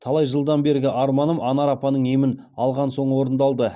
талай жылдан бергі арманым анар апаның емін алған соң орындалды